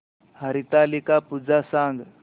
हरतालिका पूजा सांग